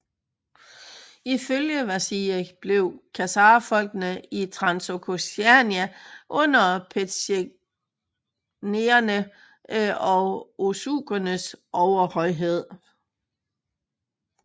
Ifølge Vasiljev forblev khazarfolkene i Transoksiana under petsjenegerne og oghuzernes overhøjhed